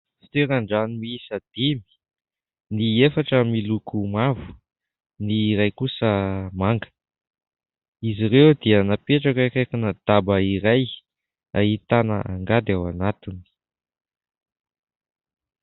Fitoeran- drano miisa dimy : ny efatra miloko mavo, ny iray kosa manga, izy ireo dia napetraka eo akaikina daba iray, ahitana angady ao anatiny.